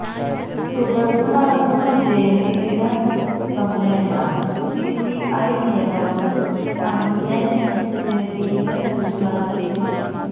തുടര്ന്ന് നടക്കുന്ന ജയന്തി ദിന സമ്മേളനം സിപിഐ നേതാവ് പന്ന്യന് രവീന്ദ്രന് ഉദ്ഘാടനം ചെയ്യും